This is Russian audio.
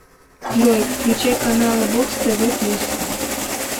джой включай каналы бокс тв плюс